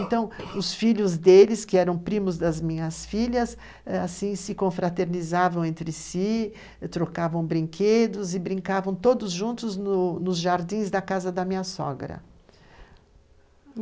Então, os filhos deles, que eram primos das minhas filhas ãh, se confraternizavam entre si, trocavam brinquedos e brincavam todos juntos nos jardins da casa da minha sogra.